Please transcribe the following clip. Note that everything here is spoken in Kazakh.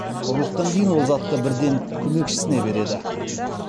ұрлықтан кейін ол затты бірден көмекшісіне береді